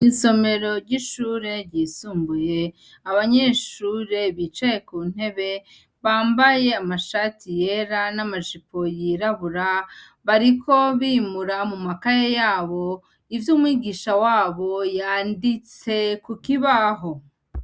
Isomero ry'ishure ryisumbuye, abanyeshure bicaye ku ntebe, bambaye amashati yera n'amajipo yirabura, bariko bimura mu makaye yabo, ivyo umwigisha wabo yanditse ku kibaho.